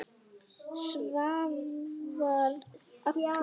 Svavar allur.